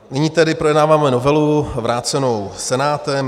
Nyní tedy projednáváme novelu vrácenou Senátem.